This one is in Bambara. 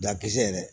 Dakisɛ yɛrɛ